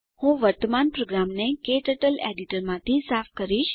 હું વર્તમાન પ્રોગ્રામને ક્ટર્ટલ એડીટરમાંથી સાફ કરીશ